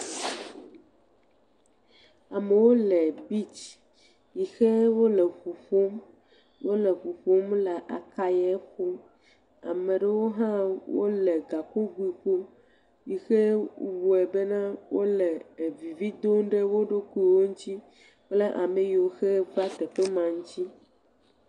Amewo le bitsi yi ke wole ŋu ƒom. Wole ŋu ƒom le akayɛ ƒom. Ama ɖewo hã wole gakogoe ƒom yi hewɔe bena wole vividom ɖe wo ɖoukuiwo ŋtsi kple ame yiwo va teƒe ma ŋtsi.